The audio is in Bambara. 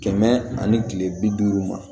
Kɛmɛ ani kile bi duuru ma